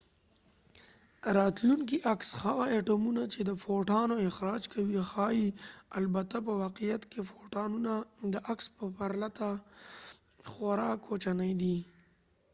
راتلونکی عکس هغه اټومونه چې د فوټانو اخراج کوي ښايي البته په واقعیت کې فوټانونه د عکس په پرتله خورا کوچني دي